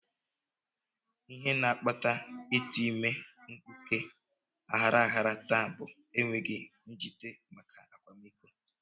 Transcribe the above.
Ihe na-akpata ịtụ ime mkpuke aghara aghara taa bụ enweghị njite maka akwamiko